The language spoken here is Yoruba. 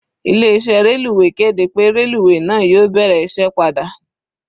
Ilé iṣẹ́ reluwe kéde pé reluwe náà yóò bẹ̀rẹ̀ iṣẹ́ padà.